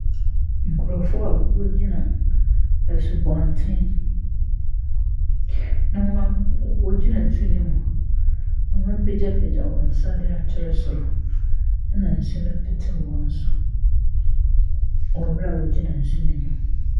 Nkurɔfoɔ a wɔgyina asubɔnten ho, na hon m wɔgyina nsuo no mu na wɔapagyapagya wɔn nsa de akyerɛ soro. ℇna nsu no pete wɔn so wɔ berɛ a wɔgyina nsu no mu.